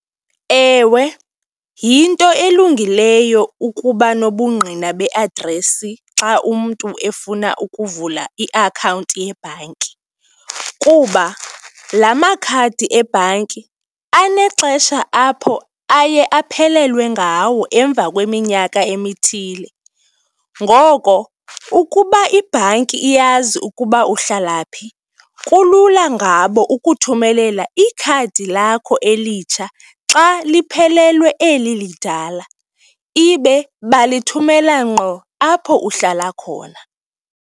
Ewe, yinto elungileyo ukuba nobungqina beadresi xa umntu efuna ukuvula iakhawunti yebhanki kuba la makhadi ebhanki anexesha apho aye aphelelwe ngawo emva kweminyaka emithile. Ngoko ukuba ibhanki iyazi ukuba uhlala phi, kulula ngabo ukuthumelela ikhadi lakho elitsha xa liphelelwe eli lidala, ibe balithumela ngqo apho uhlala khona.